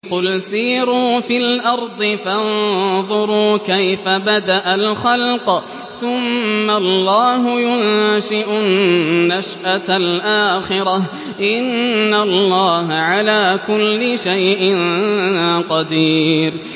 قُلْ سِيرُوا فِي الْأَرْضِ فَانظُرُوا كَيْفَ بَدَأَ الْخَلْقَ ۚ ثُمَّ اللَّهُ يُنشِئُ النَّشْأَةَ الْآخِرَةَ ۚ إِنَّ اللَّهَ عَلَىٰ كُلِّ شَيْءٍ قَدِيرٌ